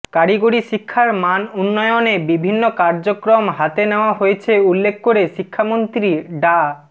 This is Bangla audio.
কারিগরি শিক্ষার মান উন্নয়নে বিভিন্ন কার্যক্রম হাতে নেওয়া হয়েছে উল্লেখ করে শিক্ষামন্ত্রী ডা